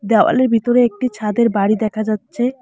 দেওয়ালের ভিতরে একটি ছাদের বাড়ি দেখা যাচ্ছে।